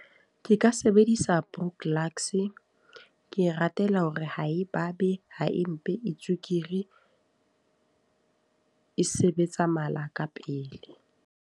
Ke ka sebedisa , ke e ratela hore ha e babe, ha e mpe e tswekere. E sebetsa mala ka pele.